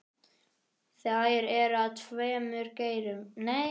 Þær eru af tveimur gerðum.